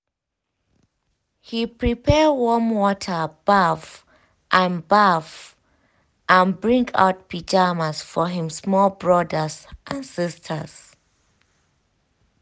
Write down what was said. he prepare warm water baff and baff and bring out pyjamas for him small brothers and sisters.